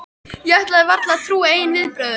Ég ætlaði varla að trúa eigin viðbrögðum.